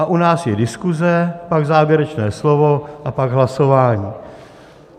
A u nás je diskuze, pak závěrečné slovo a pak hlasování.